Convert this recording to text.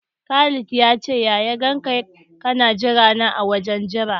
Khalid ya ce ya ya ganka kana jira na a wajen jira.